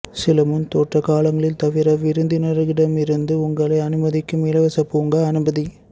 சில முன்தோற்ற காலங்களில் தவிர விருந்தினர்களிடமிருந்து உங்களை அனுமதிக்கும் இலவச பூங்கா அனுமதி